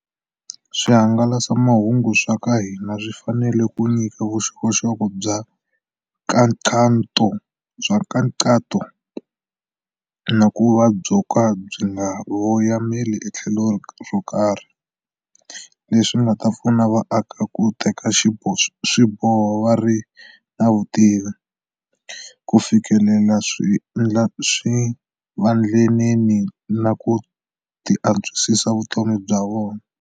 Swihangalasamahungu swa ka hina swi fanele ku nyika vuxokoxoko bya nkhaqato na ku va byo ka byi nga voyameli etlhelo ro karhi, leswi nga ta pfuna vaaki ku teka swiboho va ri na vutivi, ku fikelela swivandlanene na ku antswisa vutomi bya vona.